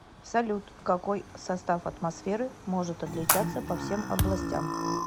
салют какой состав атмосферы может отличаться по всем областям